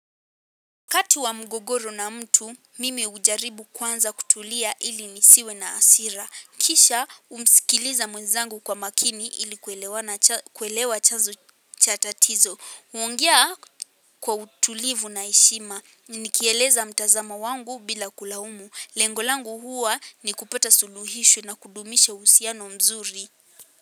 Kati wa mgogoro na mtu, mimi ujaribu kwanza kutulia ili nisiwe na asira. Kisha, umsikiliza mwezangu kwa makini ili kuelewa chanzo cha tatizo. Huongea kwa utulivu na eshima. Nikieleza mtazamo wangu bila kulaumu. Lengo langu huwa ni kupata suluhisho na kudumisha uhusiano mzuri.